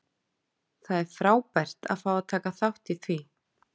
Það er frábært að fá að taka þátt í því.